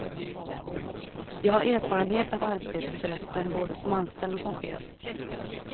Jag har erfarenhet av arbetsrätten både som anställd och som chef.